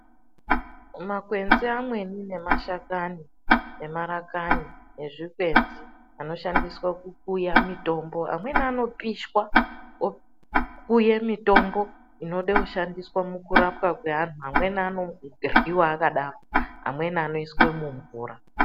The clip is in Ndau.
Makwenzi amweni nemashakani emarakwani nezvikwenzi anoshandiswa kukuya mitombo. Amweni anopishwa vokuye mitombo inode kushandiswe mukurapwa kweantu. Amweni anoryiwa akadaro. Amweni anoiswe mumvura.